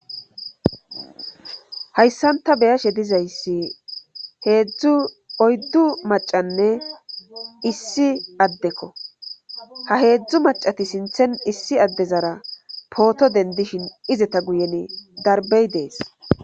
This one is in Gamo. Hayssanta beyashe dizayssi heedzdzu oyddu macanne issi addekko ha heedzdzu macati sinthen issi addezara pooto dendishin izeta guyen darbey dees.